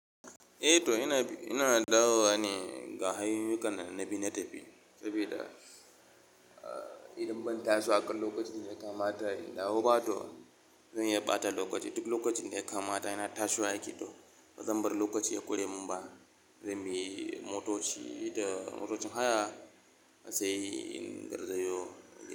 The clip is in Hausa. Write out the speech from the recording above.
Eh to ina, ina dawowa ne ga hanyoyukan da na bi na tafi saboda, ah, idan ban taso akan lokacin da ya kamata in dawo ba to zan iya ɓata lokaci. Duk lokacin da ya kama da na tashiwa yake to bazan bar lokaci ya kure mun ba. Zan bi motoci da motocin haya sai in garzayo.